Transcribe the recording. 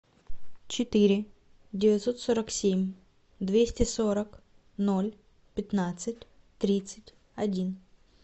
четыре девятьсот сорок семь двести сорок ноль пятнадцать тридцать один